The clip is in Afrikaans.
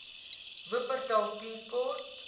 wupperthal tea court